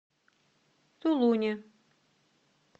тулуне